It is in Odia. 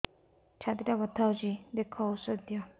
ଛାତି ଟା ବଥା ହଉଚି ଦେଖ ଔଷଧ ଦିଅ